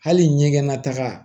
Hali ɲɛgɛn nataga